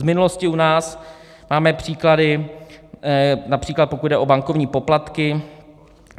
Z minulosti u nás máme příklady, například pokud jde o bankovní poplatky.